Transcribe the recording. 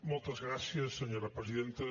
moltes gràcies senyora presidenta